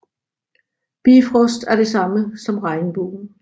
Bifrost er det samme som regnbuen